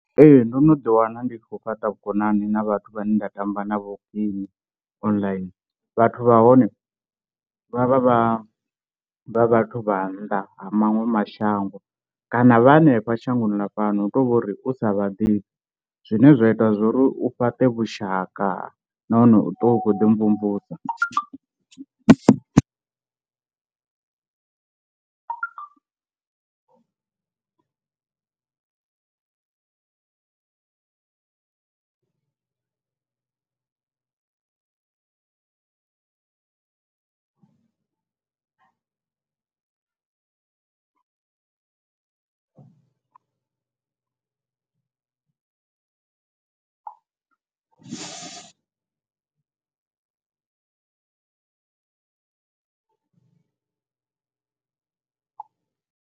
Ee ndo no ḓiwana ndi khou fhaṱa vhukonani na vhathu vhane nda tamba na vho game online, vhathu vha hone vha vha vha vha vhathu vha nnḓa ha maṅwe mashango kana vha hanefha shangoni la fhano hu tovhori u sa vha ḓifhi, zwine zwa ita zwo ri u fhaṱa vhushaka nahone u ṱuwa u khou ḓi mvumvusa.